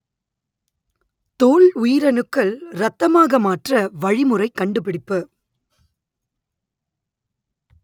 தோல் உயிரணுக்கள் இரத்தமாக மாற்ற வழிமுறை கண்டுபிடிப்பு